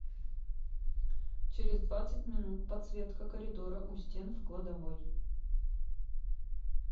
через двадцать минут подсветка коридора у стен в кладовой